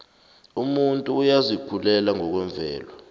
umuntu uyazikhulela ngokwemvelo